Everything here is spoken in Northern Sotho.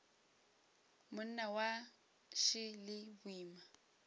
monna wa š le boima